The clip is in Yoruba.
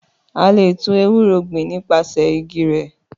Àlé tun èwúrò gbin ni pàsẹ ìgí rẹ